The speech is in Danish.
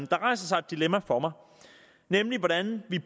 der rejser sig et dilemma for mig nemlig hvordan vi